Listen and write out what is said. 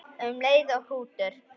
Um leið og hrútur